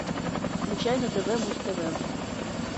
включай на тв муз тв